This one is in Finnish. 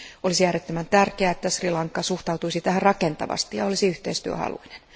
Olisi äärettömän tärkeää, että Sri Lanka suhtautuisi tähän rakentavasti ja olisi yhteistyöhaluinen.